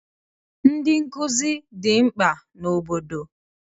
Ndị nkụzi dị mkpa n'obodo